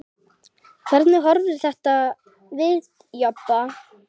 Hvernig horfir þetta við Jobba?